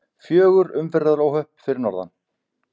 Fjögur umferðaróhöpp fyrir norðan